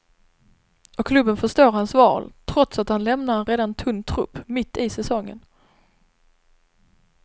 Och klubben förstår hans val, trots att han lämnar en redan tunn trupp mitt säsongen.